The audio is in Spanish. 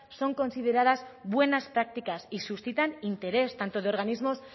son consideradas buenas prácticas y suscitan interés tanto de organismos